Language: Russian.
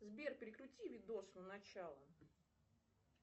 сбер перекрути видос на начало